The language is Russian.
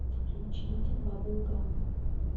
включить бабл гам